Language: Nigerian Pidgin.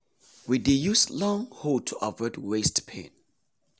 we dey use long hoe to avoid waist pain.